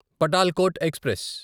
Patalkot express